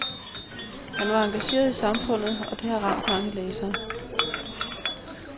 Han var engageret i samfundet, og det har ramt mange læsere.